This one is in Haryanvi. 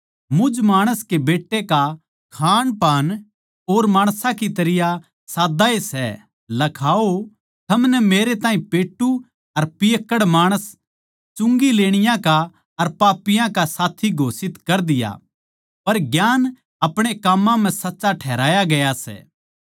मुझ माणस के बेट्टे का खाणपान और माणसां की तरियां साद्दा ए सै लखाओ थमनै मेरे ताहीं पेट्टू अर पियक्कड़ माणस चुंगी लेणिये का अर पापियाँ का साथी घोषित कर दिया पर ज्ञान अपणे काम्मां म्ह सच्चा ठहराया गया सै